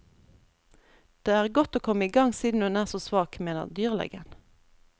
Det er godt å komme i gang siden hun er så svak, mener dyrlegen.